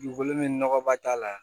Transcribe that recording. Dugukolo min nɔgɔ ba t'a la